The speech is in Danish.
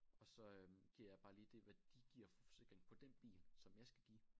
Og så øh giver jeg bare lige det hvad de giver for forsikring på den bil som jeg skal give